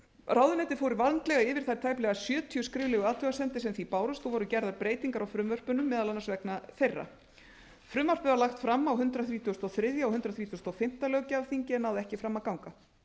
ráðuneytið fór vandlega yfir þær tæplega sjötíu skriflegu athugasemdir sem því bárust og voru gerðar breytingar á frumvörpunum meðal annars vegna þeirra frumvarpið var lagt fram á hundrað þrítugasta og þriðja og hundrað þrítugasta og fimmta löggjafarþingi en náði ekki fram að ganga